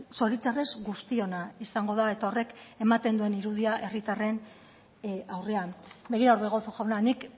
zoritxarrez guztiona izango da eta horrek ematen duen irudia herritarren aurrean begira orbegozo jauna nik